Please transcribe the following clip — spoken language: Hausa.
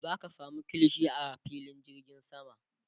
zaka samu kilishi a filin jirgin sama